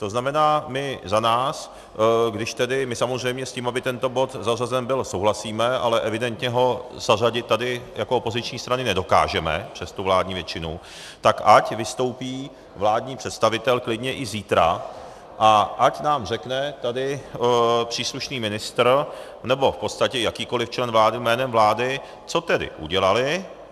To znamená, my za nás, když tedy, my samozřejmě s tím, aby tento bod zařazen byl, souhlasíme, ale evidentně ho zařadit tady jako opoziční strany nedokážeme přes tu vládní většinu, tak ať vystoupí vládní představitel klidně i zítra a ať nám řekne tady příslušný ministr nebo v podstatě jakýkoliv člen vlády jménem vlády, co tedy udělali.